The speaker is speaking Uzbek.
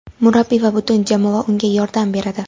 Murabbiy va butun jamoa unga yordam beradi.